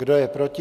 Kdo je proti?